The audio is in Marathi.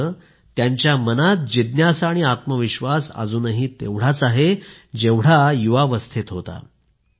मात्र त्यांच्या मनात जिज्ञासा आणि आत्मविश्वास अजूनही तेवढाच आहे जेवढा आपल्या युवावस्थेत होता